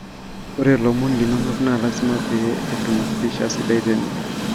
ore lomon linonok naa lazima pee etum pisha sidai tene